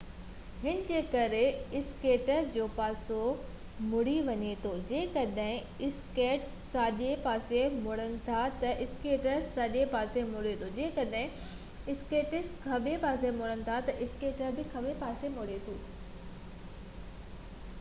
هن جي ڪري اسڪيٽر جو پاسو مُڙي وڃي ٿو جيڪڏهن اسڪيٽس ساڄي پاسي مُڙن ٿا تہ اسڪيٽر ساڃي پاسي مُڙي ٿو جيڪڏهن اسڪيٽس کاٻي پاسي مُڙي ٿو تہ اسڪيٽر کاٻي پاسي مُڙي ٿو